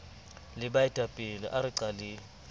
le baetapele a re qaleng